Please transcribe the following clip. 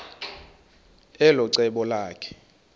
elo cebo lakhe